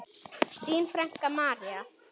Þín frænka, María.